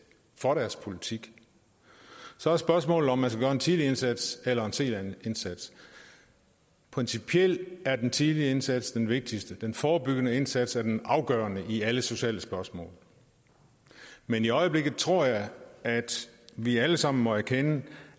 for deres politik så er spørgsmålet om man skal gøre en tidlig indsats eller en sen indsats principielt er den tidlige indsats den vigtigste den forebyggende indsats er den afgørende i alle sociale spørgsmål men i øjeblikket tror jeg at vi alle sammen må erkende